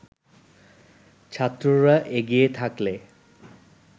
ছাত্ররা এগিয়ে থাকলে